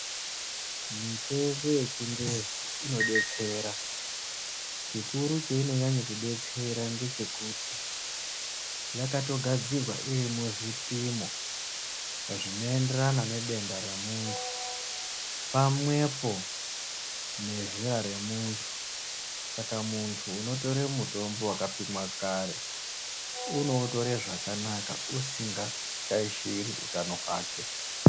Mutombo wechingezi unodetsera, chikuru cheunonyanya kudetsera ndechekuti yakatogadzirwaa iri muzvipimo zvinoenderana nedenda remuntu, pamwepo nezera remuntu. Saka muntu unotore mutombo wakapimwaa kare unoutore zvakanaka usinga shaishiri utano hwake.